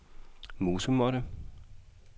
musemåtte